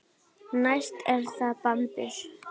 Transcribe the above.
Næst er það bambus.